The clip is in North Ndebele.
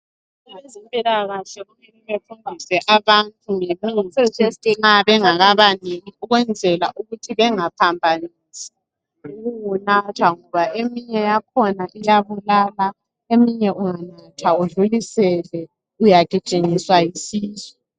Abezempilakahle kumele bafundise abantu ngemithi bengakabaniki ukwenzela ukuthi bengaphambanisi ukuwunatha ngoba eminye yakhona iyabulala eminye unganatha udlulisele uyagijinyiswa yisisu.